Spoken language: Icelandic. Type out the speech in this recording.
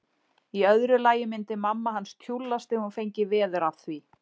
Í öðru lagi myndi mamma hans tjúllast ef hún fengi veður af því.